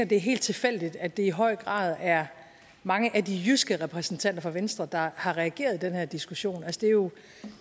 det er helt tilfældigt at det i høj grad er mange af de jyske repræsentanter for venstre der har reageret i den her diskussion